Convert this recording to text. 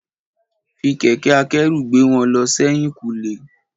Fi kẹ̀kẹ́ akẹ́rù gbé wọn lọ sẹ́yìn kùlé.